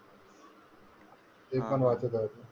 ते पण वाचत राहिलो.